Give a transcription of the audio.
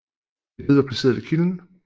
Et led var placeret ved kilden